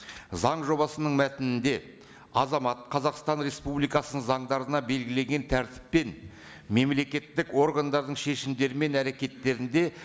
заң жобасының мәтінінде азамат қазақстан республикасының заңдарында белгілеген тәртіппен мемлекеттік органдардың шешімдері мен әрекеттерінде